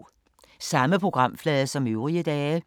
Samme programflade som øvrige dage